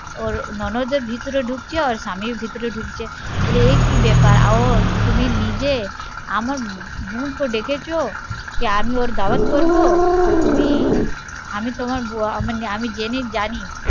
ওর ননদ ভেতরে ঢুকছে ওর স্বামী ভেতরে ঢুকছে বলে ও কি ব্যাপার তুমি নিজে আমার বোন কে ডেকেছো আমি ওর দাওয়াত করবো আর তুমি আমি তোমার জেনে জানি